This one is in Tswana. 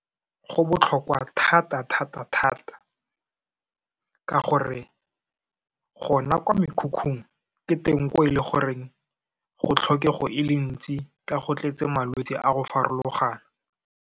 Go botlhokwa thata-thata thata ka gore, gona kwa mekhukhung, ke teng ko e le goreng, go tlhokego e le ntsi, ka go tletse malwetse a go farologana.